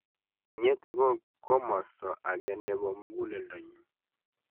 inyete ko komosto age nebo muguleldonyu